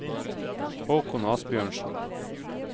Haakon Asbjørnsen